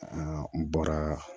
n bɔra